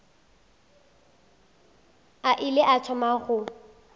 a ile a thoma go